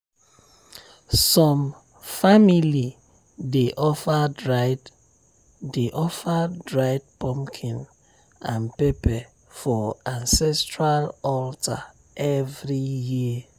some family dey offer dried dey offer dried pumpkin and pepper for ancestral altar every year.